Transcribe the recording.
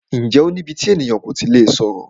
Ǹjẹ́ o ní íbí tí ènìyàn kò tí lè sọ̀rọ̀?